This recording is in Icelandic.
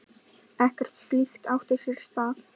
Ekkert slíkt átti sér stað.